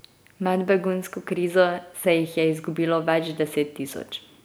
Med begunsko krizo se jih je izgubilo več deset tisoč.